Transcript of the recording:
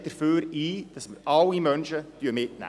Die SP steht dafür ein, dass wir alle Menschen mitnehmen.